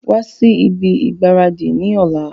Wa si ibi ìgbáradì ni ọ̀la!